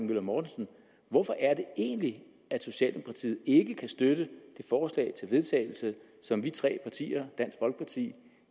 møller mortensen hvorfor er det egentlig at socialdemokratiet ikke kan støtte forslaget til vedtagelse som vi tre partier dansk folkeparti